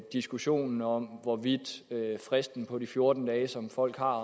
diskussionen om hvorvidt fristen på de fjorten dage som folk har